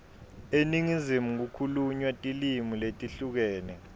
eningizimu kukhulunywa tilimi letehlukene